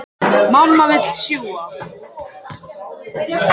Mamma til að sjúga.